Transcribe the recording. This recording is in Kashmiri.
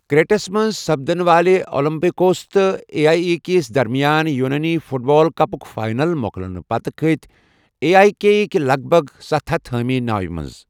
کرٛیٹس منٛز سپدٕنہٕ والہِ اولمپِیاکوس تہٕ اے ایی کے یس درمِیان یوٗنٲنی فُٹ بال کَپُک فاینَل مۄکلٕنہٕ پتہٕ کٔتھۍ اے ایی كے ہٕکۍ لگ بھگ ستَھ ہتھَ حٲمی ناوِ منز ۔